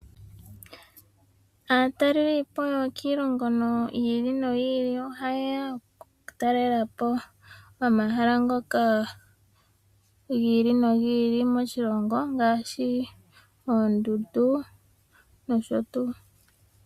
Aatalelipo yokiilongo yi ili noyi ili oha yeya okutalelapo omahala ngoka gi ili nogi ili ngaashi oondundu nosho tuu.